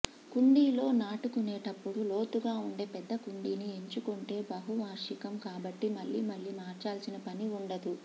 కుండీలో నాటుకునేటప్పుడు లోతుగా ఉండే పెద్ద కుండీని ఎంచుకుంటే బహువార్షికం కాబట్టి మళ్లీ మళ్లీ మార్చాల్సిన పని ఉండదు